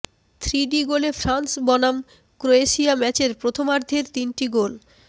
three D গোলে France বনাম Croatia ম্যাচের প্রথমার্ধের তিনটি গোল